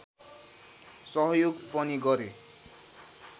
सहयोग पनि गरे